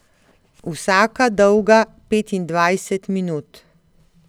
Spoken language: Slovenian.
Vsaka dolga petindvajset minut.